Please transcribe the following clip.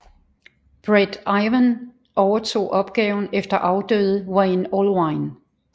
Bret Iwan overtog opgaven efter afdøde Wayne Allwine